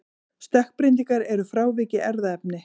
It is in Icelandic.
stökkbreytingar eru frávik í erfðaefninu